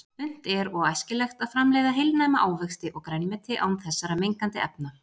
Unnt er og æskilegt að framleiða heilnæma ávexti og grænmeti án þessara mengandi efna.